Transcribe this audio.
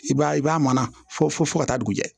I b'a ye i b'a mara fo fo ka taa dugu jɛ